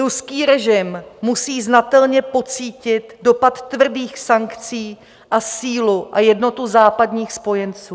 Ruský režim musí znatelně pocítit dopad tvrdých sankcí a sílu a jednotu západních spojenců.